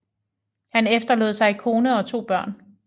Han efterlod sig kone og to børn